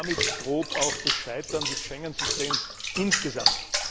Damit droht auch das Scheitern des Schengen Systems insgesamt.